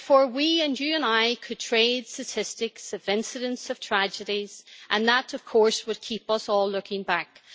We, you and I, could trade statistics of incidents and tragedies, and that, of course, would keep us all looking backwards.